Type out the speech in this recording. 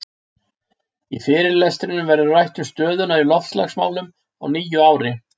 Í fyrirlestrinum verður rætt um stöðuna í loftslagsmálum á nýju ári.